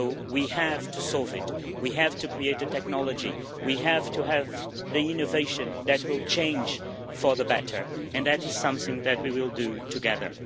We have to solve this, we have to create a technology, we have to have the innovation that will change for the better and that is something that we will do together.